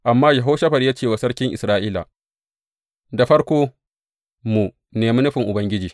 Amma Yehoshafat ya ce wa sarkin Isra’ila, Da farko mu nemi nufin Ubangiji.